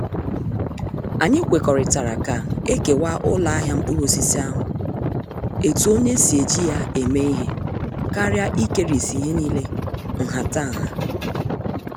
Anyị kwekọrịtara ka- ekewa uloahia mkpuruosisi ahụ etu onye si eji ya eme ihe karịa ikerisi ihe niile nhatanha